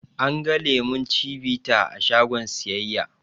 An ga lemon cibita a shagon siyayya